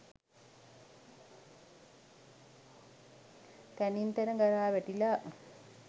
තැනින් තැන ගරා වැටිලා